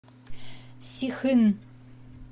сихын